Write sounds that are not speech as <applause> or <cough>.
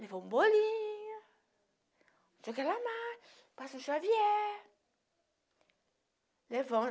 Levou um bolinho, um chocolate <unintelligible>